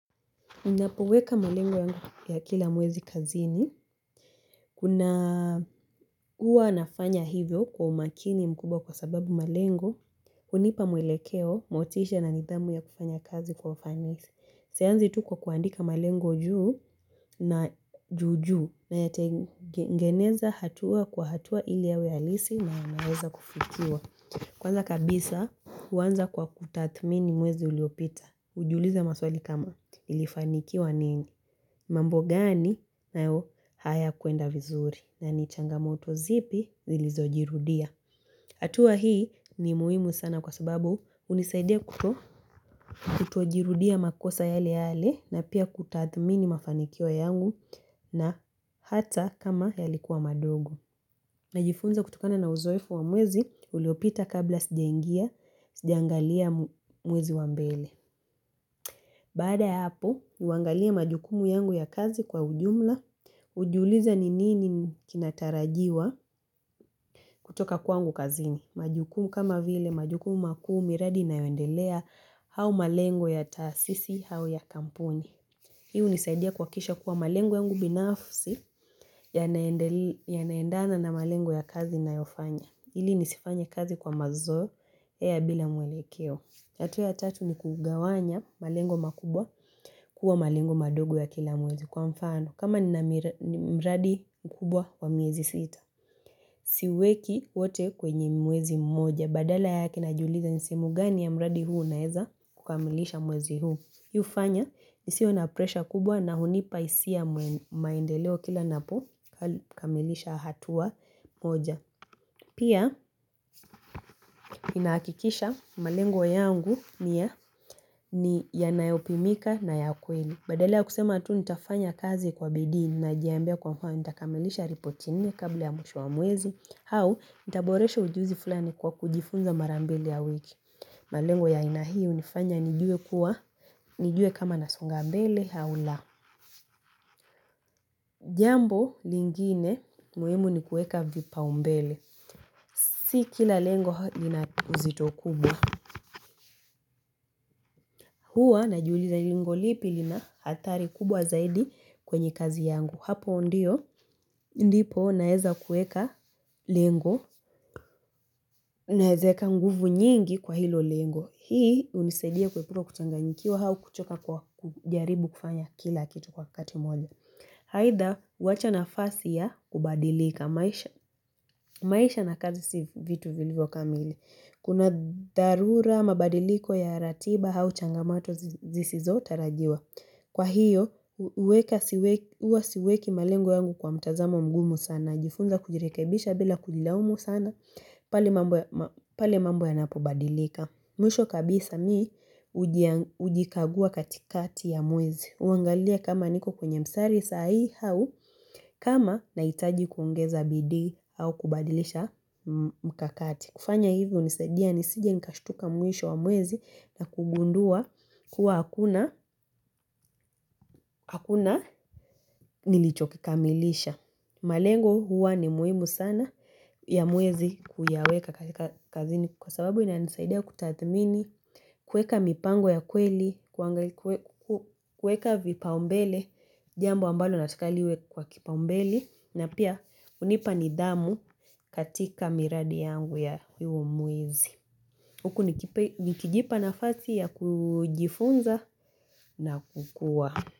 Unapoweka malengo ya kila mwezi kazini. Kuna huwaa nafanya hivyo kwa umakini mkubwa kwa sababu malengu. Hunipa mwelekeo, motisha na nidhamu ya kufanya kazi kwa ufanisi Sianzi tu kwa kuandika malenguy juu na jujuu. Na yate ngeneza hatua kwa hatua ili yawe alisi na naweza kufikiwa. Kwaanza kabisa huanza kwa kutathmini mwezi uliopita. Hujuliza maswali kama ilifanikiwa nini. Mambo gani nayo hayakuenda vizuri na ni changamoto zipi zilizojirudia. Hatua hii ni muhimu sana kwa sababu unisaidia kutojirudia makosa yale yale na pia kutathmini mafanikio yangu na hata kama yalikuwa madogo. Najifunza kutokana na uzoefu wa mwezi uliopita kabla sijaingia mwezi wa mbele. Bada hapo, huangalia majukumu yangu ya kazi kwa ujumla, hujuliza ni nini kinatarajiwa kutoka kwangu kazini. Majukumu kama vile, majukumu makuu miradi inayoendelea au malengo ya taasisi au ya kampuni. Hio hunisaidia kuhakikisha kuwa malengo yangu binafsi yanaaendana na malengo ya kazi ninayofanya. Ili nisifanya kazi kwa mazoea bila mwelekeo. Harua ya tatu ni kugawanya malengo makubwa kuwa malengo madogo ya kila mwezi kwa mfano. Kama ni mradi mkubwa wa miezi sita. Siweki wote kwenye mwezi mmoja. Badala yake najiuliza ni simu gani ya mradi huk naeza kukamilisha mwezi huu. Hio hufanya nisiwe na presha kubwa na hunipa hisia maendeleo kila napo kamilisha hatua mmoja. Pia inahakikisha malengo yangu ni ya yanayopimika na ya kweli. Badala ya kusema tu nitafanya kazi kwa BIDII najiambia kwa kuwa nitakamelisha ripoti nne kabla ya mwisho wa mwezi. Au nitaboresha ujuzi fulani kwa kujifunza mara mbili ya wiki. Malengo ya aina hii hunifanya nijue kuwa nijue kama nasonga mbele au la. Jambo lingine muhimu ni kueka vipaumbele. Si kila lengo lina uzito kubwa. Huwa najuuliza lengo lipi lina athari kubwa zaidi kwenye kazi yangu. Hapo ndipo naeza kuweka lengo, naweza weka nguvu nyingi kwa hilo lengo. Hii hunisaidia kuepuka kuchanganyikiwa au kuchoka kujaribu kufanya kila kitu kwa kati mmoja. Aidha, huwacha nafasi ya kubadilika maisha na kazi si vitu vilivyo kamili. Kuna dharura mabadiliko ya ratiba au changamato zisizo tarajiwa. Kwa hiyo huwa siweki malengo yangu kwa mtazamo mgumu sana. Hujifunza kujirekebisha bila kujilaumu sana. Pale mambo yanapobadilika. Mwisho kabisa mimi hujikagua katikati ya mwezi. Huangalia kama niko kwene msari sahii au kama nahitaji kuongeza bidii au kubadilisha mkakati. Kufanya hivyo hunisaidia nisije nikashutuka mwisho wa mwezi na kugundua kuwa hakuna nilichokikamilisha. Malengo huwa ni muhimu sana ya mwezi kuyaweka kazini kwa sababu inanisaidia kutathmini, kuweka mipango ya kweli, kuweka vipaumbele, jambo ambalo natukaliwe kwa kipaumbele na pia hunipa nidhamu katika miradi yangu ya huo mwezi. Nikijipa nafasii ya kujifunza na kukua.